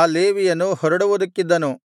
ಆ ಲೇವಿಯನು ಹೊರಡುವುದಕ್ಕಿದ್ದನು